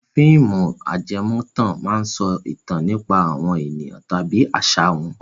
Àwọn fíìmù ajẹmọ́tàn máa ń sọ ìtàn nípa àwọn ènìyàn tàbí àṣà wọn.